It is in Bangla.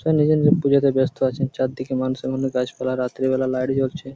সব নিজের নিজের পুজোতে ব্যাস্ত আছে। চারদিক এমান সেমানে গাছপালা রাত্রিবেলা লাইট জ্বলছে।